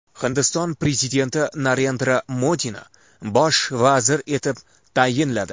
Hindiston prezidenti Narendra Modini bosh vazir etib tayinladi.